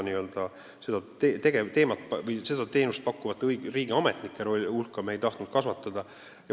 Me ei tahtnud selle teenuse pakkumiseks riigiametnike hulka kasvatada.